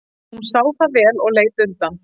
Hún sá það vel og leit undan.